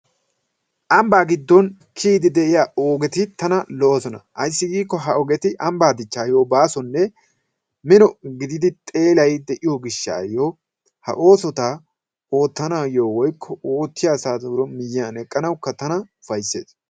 Ambbaa giddon kiyiiddi de'iya ogeti tana lo'oosona. Ayssi giikko ha ogeti ambbaa dichchaayyo baasonne mino gididi xeelay de'iyo gishshaayyo ha oosota oottanaayyo woykko oottiya asaayyo miyyiyan eqqanaayyo tana ufayssees.